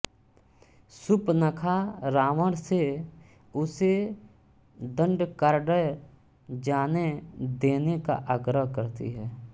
सुपनखा रावण से उसे दंडकारण्य जाने देने का आग्रह करती है